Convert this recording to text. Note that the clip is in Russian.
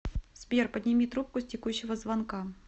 сбер подними трубку с текущего звонка